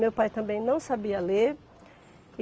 Meu pai também não sabia ler.